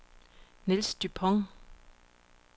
Niels Dupont